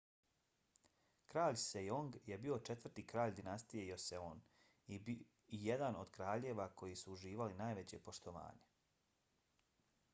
kralj sejong je bio četvrti kralj dinastije joseon i jedan od kraljeva koji su uživali najveće poštovanje